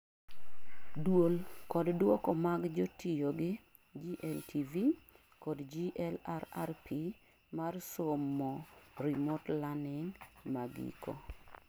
duol kod duoko mag jo tiyogi GLTV kod GLRRP mar somo remote learning magiko